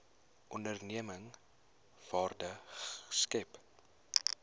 onderneming waarde skep